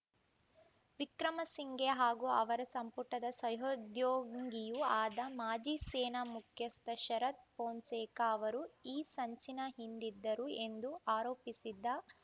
ವಿಕ್ರಮಸಿಂಘೆ ಹಾಗೂ ಅವರ ಸಂಪುಟದ ಸಹೋದ್ಯೋಗಿಯೂ ಆದ ಮಾಜಿ ಸೇನಾ ಮುಖ್ಯಸ್ಥ ಶರತ್‌ ಫೋನ್ಸೇಕಾ ಅವರು ಈ ಸಂಚಿನ ಹಿಂದಿದ್ದರು ಎಂದು ಆರೋಪಿಸಿದ್ದ